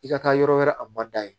I ka taa yɔrɔ wɛrɛ a ma da ye